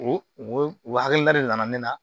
O o hakilina de nana ne na